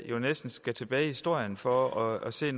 jo næsten skal tilbage i historien for at se